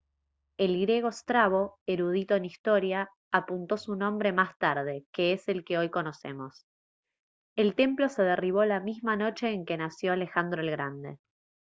el griego strabo erudito en historia apuntó su nombre más tarde que es el que hoy conocemos el templo se derribó la misma noche en que nació alejandro el grande